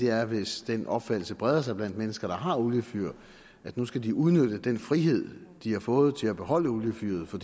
er hvis den opfattelse breder sig blandt mennesker der har oliefyr at nu skal de udnytte den frihed de har fået til at beholde oliefyret for